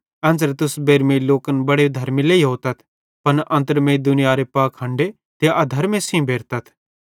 एन्च़रे तुस बेइरमेईं लोकन बड़े धर्मी लेइयोतथ पन अन्त्रमेईं दुनियारे पाखंडे ते अधर्मे सेइं भेरतथ